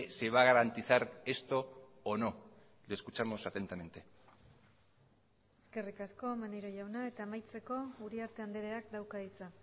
se va a garantizar esto o no le escuchamos atentamente eskerrik asko maneiro jauna eta amaitzeko uriarte andreak dauka hitza